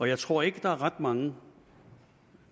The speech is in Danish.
jeg tror ikke der er ret mange